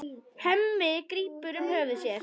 Hemmi grípur um höfuð sér.